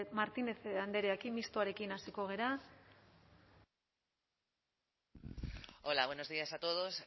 martínez andrearekin mistoarekin hasiko gara hola buenos días a todos